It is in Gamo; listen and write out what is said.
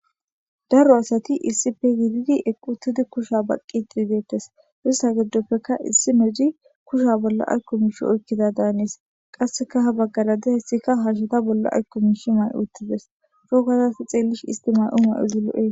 Daro asati issippe shiiqidi eqqi uttidi kusha baqqidi deettes.istta giddoppeka issinozi kusha bolla aykko miishi oykkidada hanees. Qasseka ha baggara de'iyaysika hasheta bolla aykko miishi mayi uttides. Coo gada ta xeellishin isti may mayo mayozi lo'ees.